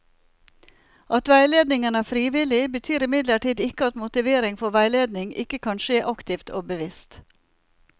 At veiledningen er frivillig, betyr imidlertid ikke at motivering for veiledning ikke kan skje aktivt og bevisst.